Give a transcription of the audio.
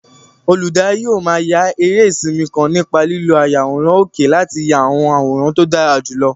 Olùdarí yóò máa ya eré sinimá kan nípa lílo ayàwòrán òkè láti ya àwọn àwòrán tó dára jùlọ.